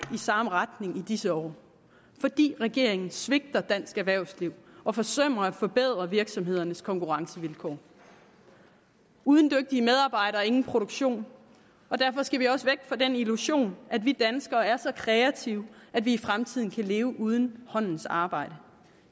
i samme retning i disse år fordi regeringen svigter dansk erhvervsliv og forsømmer at forbedre virksomheders konkurrencevilkår uden dygtige medarbejdere ingen produktion og derfor skal vi også væk fra den illusion at vi danskere er så kreative at vi i fremtiden kan leve uden håndens arbejde